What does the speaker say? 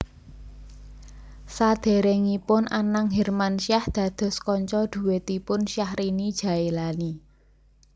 Sadèrèngipun Anang Hermansyah dados kanca dhuètipun Syahrini Jaelani